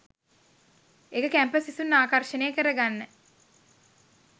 ඒක කැම්පස් සිසුන් ආකර්ෂණය කර ගන්න